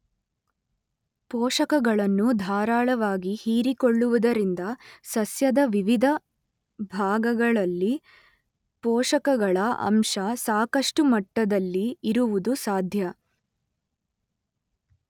ಪೋಷಕಗಳನ್ನು ಧಾರಾಳವಾಗಿ ಹೀರಿಕೊಳ್ಳುವುದರಿಂದ ಸಸ್ಯದ ವಿವಿಧ ಭಾಗಗಳಲ್ಲಿ ಪೋಷಕಗಳ ಅಂಶ ಸಾಕಷ್ಟು ಮಟ್ಟದಲ್ಲಿ ಇರುವುದು ಸಾಧ್ಯ.